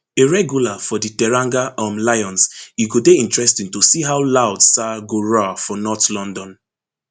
a regular for di teranga um lions e go dey interesting to see how loud sarr go roar for north london